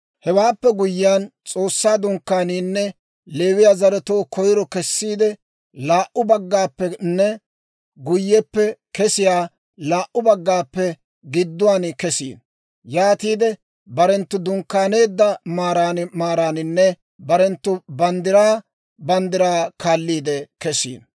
«Hewaappe guyyiyaan, S'oossaa Dunkkaaniinne Leewiyaa zaratuu koyiro kesiidde laa"u baggaappenne guyyeppe kesiyaa laa"u baggaappe gidduwaan kesino; yaatiide barenttu dunkkaaneedda maaran maaraaninne barenttu banddiraa banddiraa kaalliide kesino.